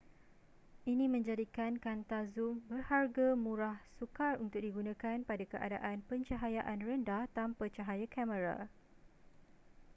ini menjadikan kanta zoom berharga murah sukar untuk digunakan pada keadaan pencahayaan rendah tanpa cahaya kamera